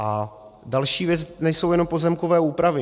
A další věc, nejsou jenom pozemkové úpravy.